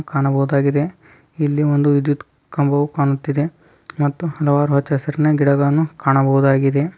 ಕಾಣಬಹುದಾಗಿದೆ ಒಂದು ವಿದ್ಯುತ್ ಕಂಬವು ಕಾಣುತ್ತಿದೆ ಮತ್ತು ಹಲವಾರು ಹಚಾ ಹಸಿರಿನ ಗಿಡಗಳನ್ನು ಕಾಣಬಹುದಾಗಿದೆ